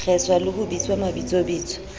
kgeswa le ho bitswa mabitsobitso